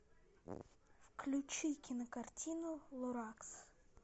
включи кинокартину лоракс